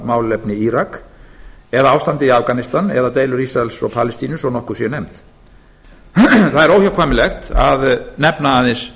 málefni íraks eða ástandið í afganistan eða deilur ísraels og palestínu svo nokkur séu nefnd það er óhjákvæmilegt að nefna aðeins